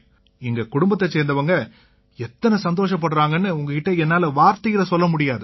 எங்க குடும்பத்தைச் சேர்ந்தவங்க உங்க கிட்ட எத்தனை சந்தோஷப்படுறாங்கன்னு என்னால வார்த்தையில சொல்ல முடியாது